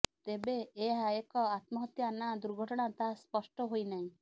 ତେବେ ଏହା ଏକ ଆତ୍ମହତ୍ୟା ନା ଦୁର୍ଘଟଣା ତାହା ସ୍ପଷ୍ଟ ହୋଇନାହିଁ